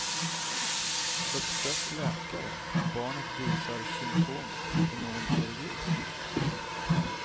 Uppsök läkare om barnet visar symptom på någon allergi.